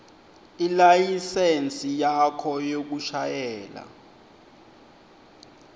ilayisensi yakho yekushayela